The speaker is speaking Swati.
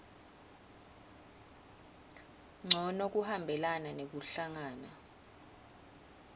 ncono kuhambelana nekuhlangana